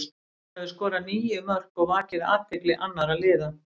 Hann hefur skorað níu mörk og vakið athygli annara liða.